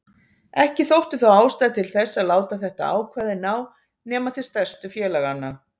Ekki þótti þó ástæða til þess að láta þetta ákvæði ná nema til stærstu félaganna.